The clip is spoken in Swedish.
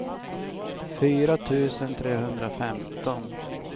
fyra tusen trehundrafemton